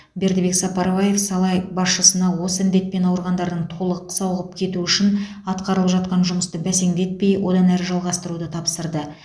бердібек сапарбаев сала басшысына осы індетпен ауырғандардың толық сауығып кетуі үшін атқарылып жатқан жұмысты бәсеңдетпей одан әрі жалғастыруды тапсырды